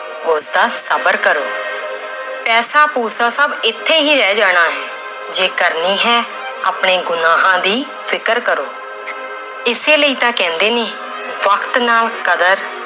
ਉਸਦਾ ਸ਼ਬਰ ਕਰੋ ਪੈਸਾ ਪੂਸਾ ਸਭ ਇੱਥੇ ਹੀ ਰਹਿ ਜਾਣਾ ਹੈ, ਜੇ ਕਰਨੀ ਹੈ ਆਪਣੇ ਗੁਨਾਂਹਾਂ ਦੀ ਫ਼ਿਕਰ ਕਰੋ ਇਸੇ ਲਈ ਤਾਂ ਕਹਿੰਦੇ ਨੇ ਵਕਤ ਨਾਲ ਕਦਰ